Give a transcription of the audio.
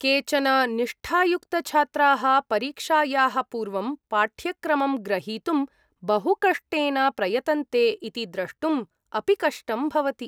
केचन निष्ठायुक्तछात्राः परीक्षायाः पूर्वं पाठ्यक्रमं ग्रहीतुं बहुकष्टेन प्रयतन्ते इति द्रष्टुम् अपि कष्टं भवति।